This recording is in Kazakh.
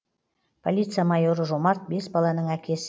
полиция майоры жомарт бес баланың әкесі